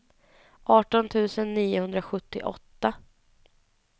arton tusen niohundrasjuttioåtta